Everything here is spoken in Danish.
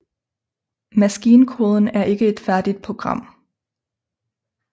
Maskinkoden er ikke et færdigt program